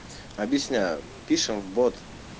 объясняю пишем в бот